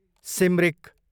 Simrik